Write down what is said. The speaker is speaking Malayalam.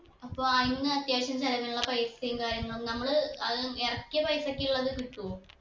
അപ്പൊ അയിന്ന് അത്യാവശ്യം ചിലവിനുള്ള പൈസയും കാര്യങ്ങളു നമ്മള് അത് ഇറക്കിയ പൈസക്കുള്ളത് കിട്ടുവോ